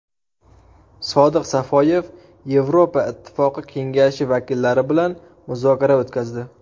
Sodiq Safoyev Yevropa Ittifoqi Kengashi vakillari bilan muzokara o‘tkazdi.